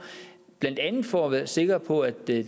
blandt andet for at være sikre på at det